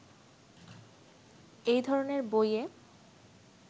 এ ধরনের বইয়ে